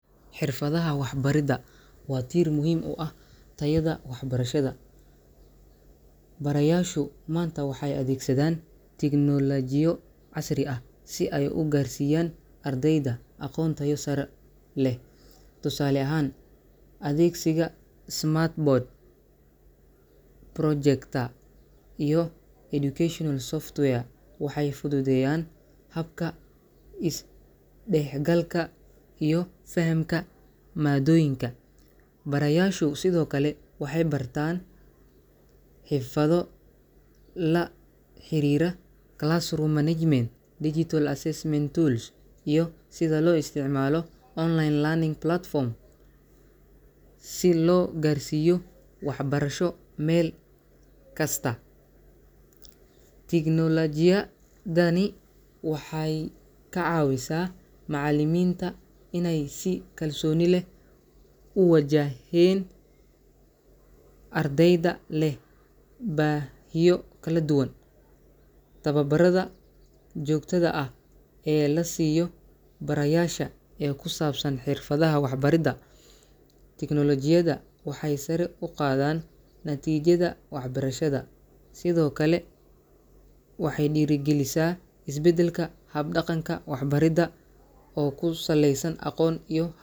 xirfadaha waxbarista waa tiir muhiim u ah tayada waxbarashada. Barayaasha maanta waxay adeegsadaan teknoolojiyad casri ah si ay ardayda ugu gudbiyaan aqoon tayo sare leh. Tusaale ahaan, adeegsiga smart boards, projectors, iyo barnaamijyada waxbarasho ee software ah waxay fududeeyaan isdhexgalka iyo fahamka maadooyinka. Sidoo kale, barayaashu waxay bartaan xirfado la xiriira maaraynta fasalka classroom management, qalabka qiimeynta dhijitaalka ah digital assessment tools, iyo sida loo isticmaalo barnaamijyada waxbarasho ee online-ka ah, si loo gaarsiiyo waxbarasho meel kasta ha joogaane. Teknoolojiyaddan waxay ka caawisaa macallimiinta in ay si kalsooni leh ula tacaalaan ardayda leh baahiyo kala duwan. Tababarrada joogtada ah ee la siiyo barayaasha ee ku saabsan xirfadaha waxbarista iyo teknoolojiyadda waxay sare u qaadaan natiijada waxbarashada, waxayna dhiirrigeliyaan isbeddel ku yimaada hab-dhaqanka waxbarista ee ku saleysan aqoonta casriga ah.